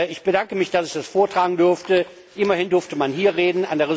Ich bedanke mich, dass ich das vortragen durfte. Immerhin durfte man hier reden.